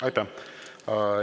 Aitäh!